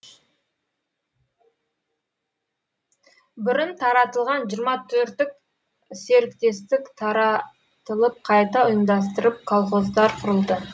бұрын таратылған жиырма төрттік серіктестік таратылып қайта ұйымдастырылып колхоздар құрылды